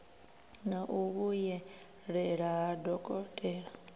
na u vhuyelela ha dokotela